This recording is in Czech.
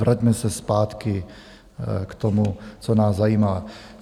Vraťme se zpátky k tomu, co nás zajímá.